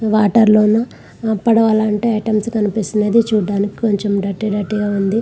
Water లలో పడవలంటే items కనిపిస్తున్నాయి. చూడడానికి కొంచెం డర్టీ డర్టీ గా ఉంది.